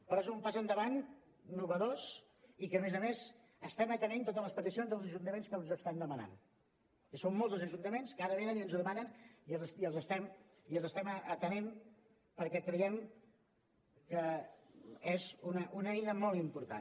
però és un pas endavant innovador i amb què a més a més estem atenent totes les peticions dels ajuntaments que ens ho estan demanant és a dir són molts els ajuntaments que ara venen i ens ho demanen i els estem atenent perquè creiem que és una eina molt important